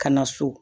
Ka na so